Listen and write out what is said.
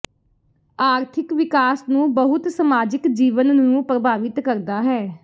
ਆਰਥਿਕ ਵਿਕਾਸ ਨੂੰ ਬਹੁਤ ਸਮਾਜਿਕ ਜੀਵਨ ਨੂੰ ਪ੍ਰਭਾਵਿਤ ਕਰਦਾ ਹੈ